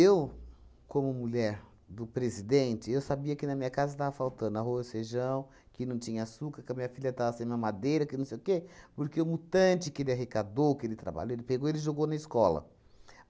como mulher do presidente, eu sabia que na minha casa estava faltando arroz, feijão, que não tinha açúcar, que a minha filha estava sem mamadeira, que não sei o quê, porque o mutante que ele arrecadou, que ele trabalhou, ele pegou e jogou na escola.